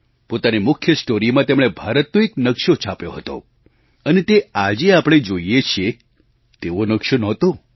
પોતાની મુખ્ય સ્ટૉરીમાં તેમણે ભારતનો એક નકશો છાપ્યો હતો અને તે આજે આપણે જોઈએ છીએ તેવો નકશો નહોતો